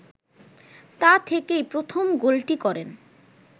তা থেকেই প্রথম গোলটি করেন